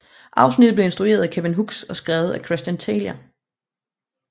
Afsnittet blev instrueret af Kevin Hooks og skrevet af Christian Taylor